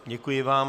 Děkuji vám.